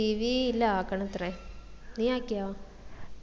cv ഇല്ല ആകണത്രേ നീ ആക്കിയോ